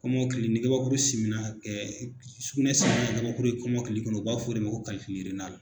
Kɔmɔkili ni kabakuru simina, ɛ sugunɛ simina ka kabakuru ye kɔmɔkili kɔnɔ u b'a fɔ o de ma ko